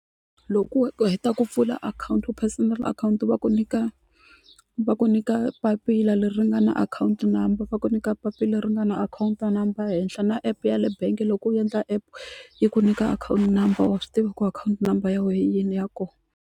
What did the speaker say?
Loko u heta ku pfula akhawunti personal akhawunti va ku nyika va ku nyika papila leri ri nga na akhawunti number va ku nyika papila leri nga na akhawunti number henhla na epe yale bangi loko u endla app yi ku nyika akhawunti number wa swi tiva ku akhawunti number ya wehe hi yini ya kona.